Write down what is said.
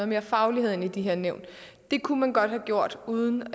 mere faglighed ind i de her nævn det kunne man godt have gjort uden